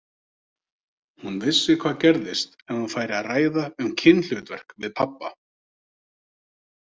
Hún vissi hvað gerðist ef hún færi að ræða um kynhlutverk við pabba.